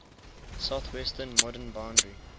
southwestern modern boundary